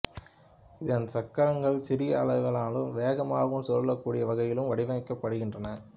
இதன் சக்கரங்கள் சிறிய அளவிலும் வேகமாக சுழலக்கூடிய வகையிலும் வடிவமைக்கப்படுகின்றன